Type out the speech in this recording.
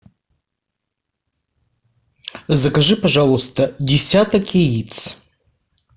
закажи пожалуйста десяток яиц